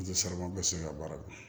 bɛ se ka baara kɛ